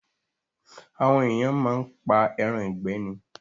Àwọn ènìyàn máa ń pa ẹran ìgbẹ́ ni